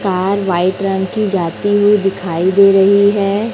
Car white रंग की जाती हुई दिखाई दे रही है।